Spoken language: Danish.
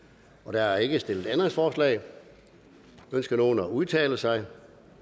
der er ikke stillet ændringsforslag ønsker nogen at udtale sig